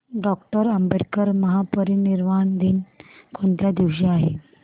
doctor Ambedkar महापरिनिर्वाण दिन कोणत्या दिवशी आहे